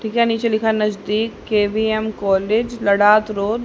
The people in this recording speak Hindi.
ठीका नीचे लिखा नजदीक के_वी_एम कॉलेज लड़ात रोड ।